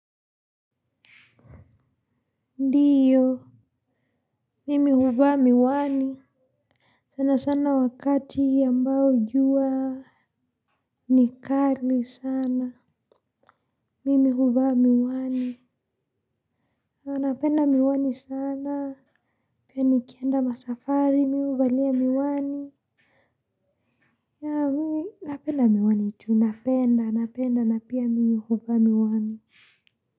Ndiyo. Mimi huvaa miwani. Sana sana wakati ambao jua ni kali sana. Mimi huva miwani. Napenda miwani sana. Pia nikienda masafari mi huvalia miwani. Napenda miwani tu. Napenda napenda na pia mi huvaa miwani.